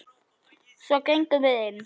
Svo gengum við inn.